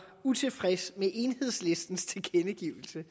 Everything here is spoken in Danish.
utilfreds med enhedslistens tilkendegivelse